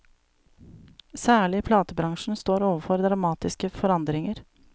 Særlig platebransjen står overfor dramatiske forandringer.